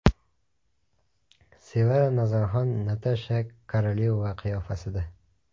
Sevara Nazarxon Natasha Korolyova qiyofasida.